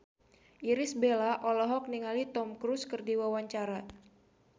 Irish Bella olohok ningali Tom Cruise keur diwawancara